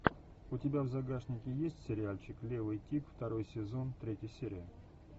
у тебя в загашнике есть сериальчик левый тип второй сезон третья серия